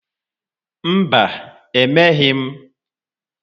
Mba, emeghị m.